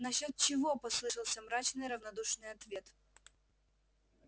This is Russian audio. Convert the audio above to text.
насчёт чего послышался мрачный равнодушный ответ